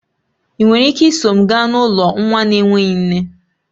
Ị nwere ike iso m gaa n'ụlọ nwa na-enweghị nne?